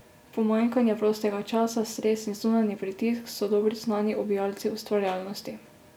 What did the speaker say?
Pomanjkanja prostega časa, stres in zunanji pritisk so dobro znani ubijalci ustvarjalnosti.